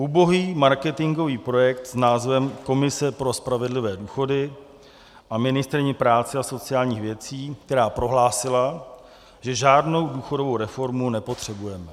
Ubohý marketingový projekt s názvem Komise pro spravedlivé důchody a ministryní práce a sociálních věcí, která prohlásila, že žádnou důchodovou reformu nepotřebujeme.